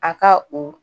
A ka o